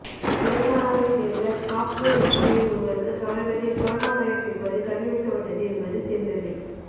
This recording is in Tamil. தெலுங்கானாவை சேர்ந்த சாப்ட்வேர் என்ஜினீயர் ஒருவருக்கு சமீபத்தில் கொரோனா வைரஸ் இருப்பது கண்டுபிடிக்கப்பட்டது என்பது தெரிந்ததே